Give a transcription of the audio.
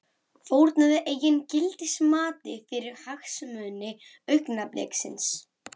Fórnaði eigin gildismati fyrir hagsmuni augnabliksins.